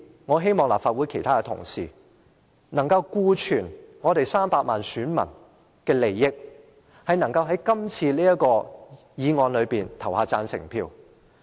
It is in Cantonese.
我希望立法會其他同事，今次可以顧全300萬名選民的利益，對這項議案投下贊成票。